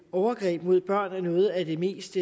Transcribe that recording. overgreb mod børn er noget af det mest